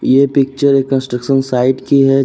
ये पिक्चर एक construction site की है।